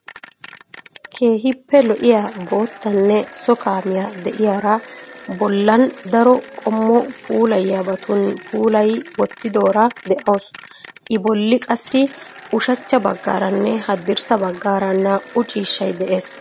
Keehippe lo"iyaa boottanne so kaamiyaa de'iyaari bollan daro qommo puulayiyaabatun puulayi wottidoora de"awusu. I bolli qassi ushachcha baggaaranne haddirssa baggaara naa"u ciishshay de'ees.